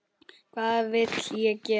Hvað vill ég gera?